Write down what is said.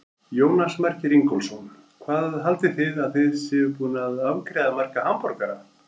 Jónas Margeir Ingólfsson: Hvað haldið þið að þið séuð búin að afgreiða marga hamborgara?